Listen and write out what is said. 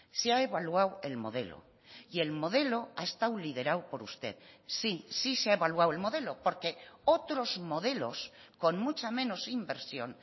se ha evaluado el modelo y el modelo ha estado liderado por usted sí sí se ha evaluado el modelo porque otros modelos con mucha menos inversión